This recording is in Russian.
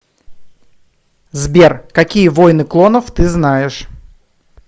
сбер какие войны клонов ты знаешь